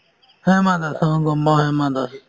হিমা দাস অ গম পাওঁ হিমা দাস